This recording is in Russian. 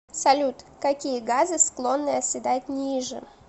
салют какие газы склонны оседать ниже